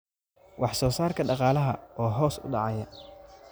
Wax soo saarka dhaqaalaha oo hoos u dhacaya: